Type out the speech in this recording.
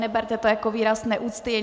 Neberte to jako výraz neúcty.